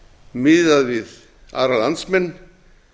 miðað við aðra landsmenn